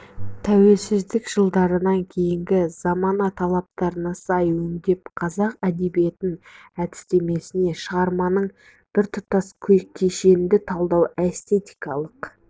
тәуелсіздік жылдарынан кейінгі замана талаптарына сай өңдеп қазақ әдебиетін әдістемесінде шығарманың біртұтас кешенді талдау эстетикалық